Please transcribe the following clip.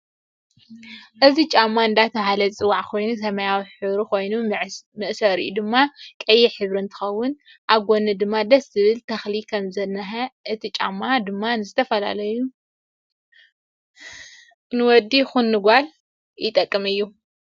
እዚ ጫማ እደተ በሃለ ዝፅዋዕ ኮይኑ ሰማያዊ ሕብሪ ኮይኑ መዕሰሪኡ ድማ ቀይሕ ሕብሪ እንትከውን ኣብ ጉኒ ድማ ደስ ዝብል ተክሊ ከም ዝንሃ እቲ ጫማ ድማ ንዝተፈላለዩ ንውድ ይኩጀን ንደቂ ኣንስትዮ ዝጠቅም እዩ።